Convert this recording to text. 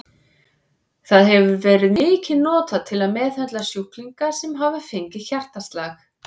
Það hefur verið mikið notað til að meðhöndla sjúklinga sem hafa fengið hjartaslag.